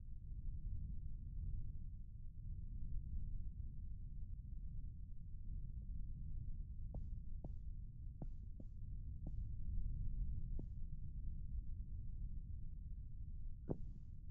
Kitaaba Afaan Oromoo mata dureen isaa ' Meettoo 'jedhutu mul'achaa jira . Gara jalaan immoo ' hidda latiinsa meettaafi seenaa gootota Oromoo ' barreeffamni jedhu ni argama . Barreessaan Kitaaba kanaa Fayyisaa Fiixaa Urgaa'aa jedhama.